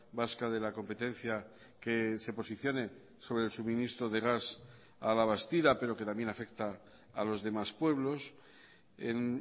vasca de la competencia que se posicione sobre el suministro de gas a la bastida pero que también afecta a los demás pueblos en